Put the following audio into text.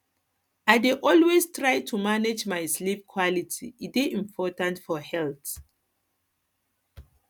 i dey always try to to manage my sleep quality e dey important for health